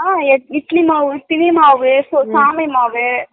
அஹ இட்லி மாவு திணை மாவு சாமி மாவு